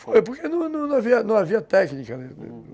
Foi, porque não não havia não havia técnica, hum